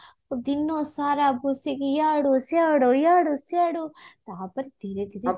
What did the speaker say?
ଦିନ ସାରା ବସିକି ଇଆଡୁ ସିଆଡୁ ଇଆଡୁ ସିଆଡୁ ତାପରେ ଧୀରେ ଧୀରେ